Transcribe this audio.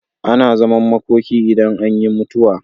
Ana zaman makoki idan an yi mutuwa.